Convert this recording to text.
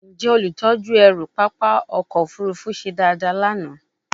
Njẹ olutọju ẹru papa ọkọ ofurufu se dada lana?